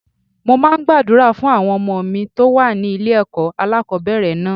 Mo máa ń gbàdúrà fún àwọn ọmọ mi tó wà ní ilé ẹ̀kọ́ alákòbẹ̀rẹ̀ náà.